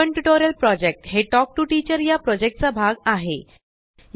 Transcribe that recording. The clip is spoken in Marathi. स्पोकन टयूटोरियल प्रोजेक्ट हे तल्क टीओ टीचर प्रोजेक्ट चा भाग आहे